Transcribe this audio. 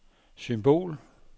symbol